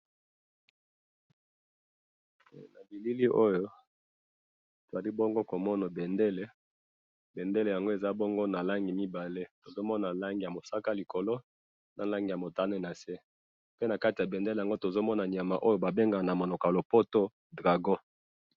na bilili oyo ezali bongo ko mona bendele bendele yango eza bongo na langi mibale tozo mona na langi ya mosaka likolo na langi motane nase pe na kati ya bendele tozo mona nyama oyo babengaka na monoko ya lopoto dragon